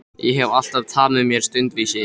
Ég hef alltaf tamið mér stundvísi.